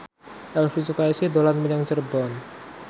Elvi Sukaesih dolan menyang Cirebon